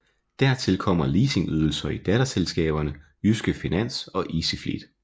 Dertil kommer leasingydelser i datterselskaberne Jyske Finans og Easyfleet